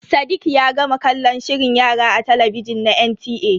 Sadiq ya gama kallon shirin yara a talabijin na NTA.